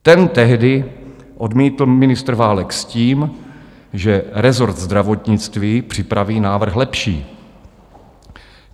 Ten tehdy odmítl ministr Válek s tím, že rezort zdravotnictví připraví návrh lepší.